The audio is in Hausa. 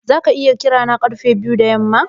Zaka iya kira na karfe biyu da yamma?